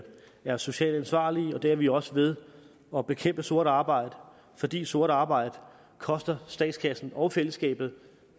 være socialt ansvarlige og det er vi også ved at bekæmpe sort arbejde fordi sort arbejde koster statskassen og fællesskabet